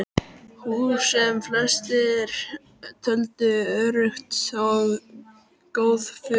Hús, sem flestir töldu örugg og góð, fuku.